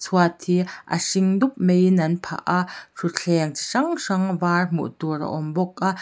chhuat hi a hring dup maiin an phah a thutthleng chi hrang hrang var hmuh tur a awm bawk a.